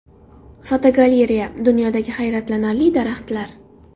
Fotogalereya: Dunyodagi hayratlanarli daraxtlar.